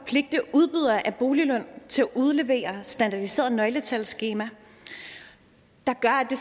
udbydere af boliglån til at udlevere standardiserede nøgletalsskemaer der gør at det